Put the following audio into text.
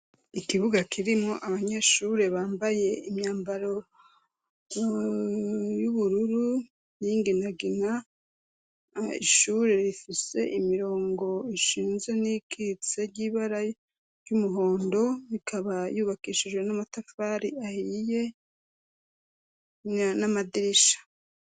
Ikibuga kirimwo abanyeshure bambaye imyambaro y'ubururu n'inginagina ishure rifise imirongo ishinze n'ikitse ry'ibara ry'umuhondo ikaba yubakishijwe n'amatafari ahiye n'amadirisha.